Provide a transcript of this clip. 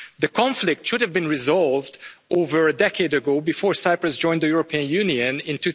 The conflict should have been resolved over a decade ago, before Cyprus joined the European Union in